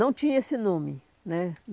Não tinha esse nome né.